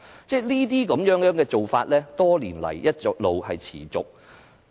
這些做法，多年來一直持續。